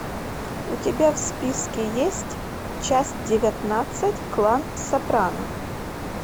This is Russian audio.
у тебя в списке есть часть девятнадцать клан сопрано